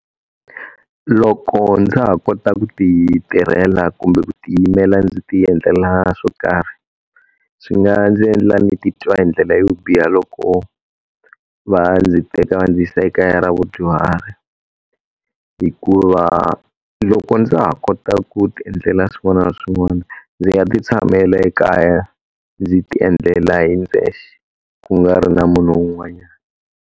Loko ndza ha kota ku ti tirhela kumbe ku ti yimela ndzi ti endlela swo karhi, swi nga ndzi endla ni titwa hi ndlela yo biha loko va ndzi teka va ndzi yisa ekaya ra vadyuhari. Hikuva loko ndza ha kota ku ti endlela swin'wana na swin'wana, ndzi nga ti tshamela ekaya ndzi ti endlela hi ndzexe. Ku nga ri na munhu un'wanyana.